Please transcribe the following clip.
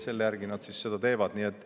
Selle järgi nad seda.